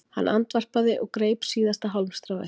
Hann andvarpaði og greip síðasta hálmstráið